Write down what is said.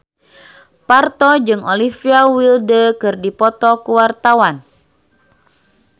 Parto jeung Olivia Wilde keur dipoto ku wartawan